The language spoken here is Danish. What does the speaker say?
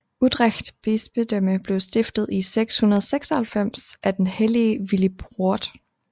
Utrecht bispedømme blev stiftet i 696 af den hellige Willibrord